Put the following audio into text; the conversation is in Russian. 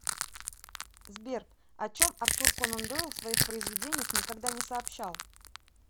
сбер о чем артур конан дойл в своих произведениях никогда не сообщал